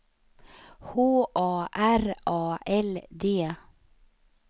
H A R A L D